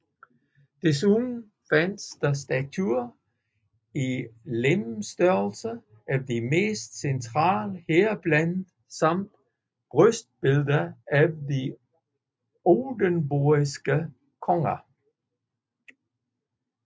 Desuden fandtes der statuer i legemsstørrelse af de mest centrale heriblandt samt brystbilleder af de oldenborgske konger